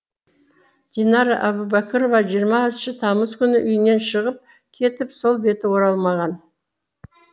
динара әубәкірова жиырмасыншы тамыз күні үйінен шығып кетіп сол беті оралмаған